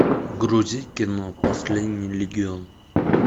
грузи кино последний легион